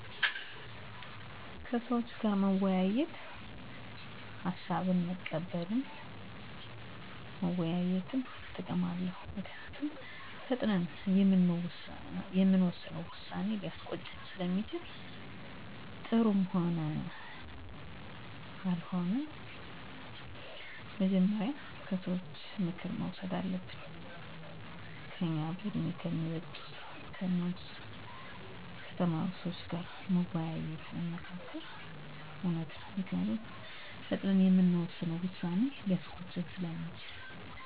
ውሳኔ ማድረግ ቀላል ወይም ከባድ አይደለም ምክንያቱም ውሳኔ የምናደርግባቸው ጉዳዮች ሁኔታ ቦታ እና ጊዜ ሊወሰኑት ይችላሉ ይህ ብቻ አይደለም ውሳኔ የምናስተላልፍበት መንገዶች የተለያዩ ናቸው እንዲሁም በህይወታችን የሚያሳድሩት ተፅእኖም እንደ ሁኔታዎች ቀላልም እንዲሁም ከባድ ሊሆኑ ይችላሉ የሚፈጥሩት ውጤቶችም እንደምንሰጣቸው ውሳኔዎች ቀላልም አስከፊም ይሆናል የህይወታችንን ልናጣ እንችላለን ወይም በወሰነው ውሳኔ ደስተኛ ሆነን ልንኖር እንችላለን ውሳኔ ከመስጠታችን በፊት ከባድ የሆነ ጭንቀት እንቅልፍ ማጣት የምግብ ፍላጎት መቀነስ ወይም ማጣት ይፈጥራል ይህም አካላዊ እና ስነ ልቦናዊ ጉዳት ያስከትላል ለዚህ መፍትሄ መፀለይ ከሰዎች ጋር መወያየትና መመካከር ሀሳብን መቀበል